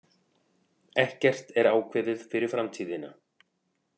Ekkert er ákveðið fyrir framtíðina.